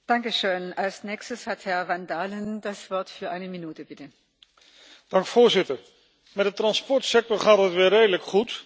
Voorzitter, met de transportsector gaat het weer redelijk goed, maar qua veiligheid en op sociaal gebied zijn er helaas nog flinke problemen.